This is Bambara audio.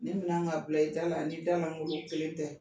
Nin mina ka bila i da la o ni da lankolon kelen tɛ.